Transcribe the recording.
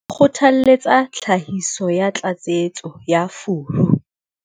Kgothaletsa tlhahiso ya tlatsetso ya furu.